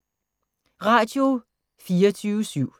Radio24syv